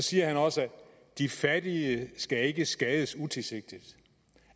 siger også de fattige skal ikke skades utilsigtet